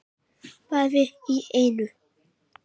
Bæði í einu.